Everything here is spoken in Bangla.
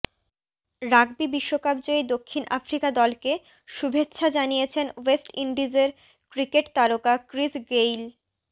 রাগবি বিশ্বকাপ জয়ী দক্ষিণ আফ্রিকা দলকে শুভেচ্ছা জানিয়েছেন ওয়েস্ট ইন্ডিজের ক্রিকেট তারকা ক্রিস গেইল